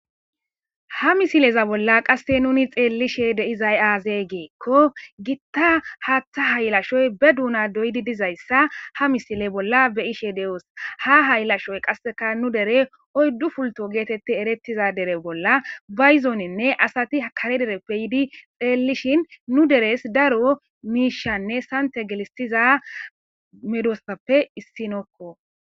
Ha misileza bolla qasse nuni xeellishe deizay aazee geekko gitta haaththa haylashoy be duuna doydi dizayssa ha misile bolla be ishe de7oos ha haylashoy qasseka nu dere oyddu fulto geetette erettiza dere bolla bayzooninne asati hakare dereppe yiidi xeellishin nu deres daro miishanne santa gelistiza medoossappe issinokko.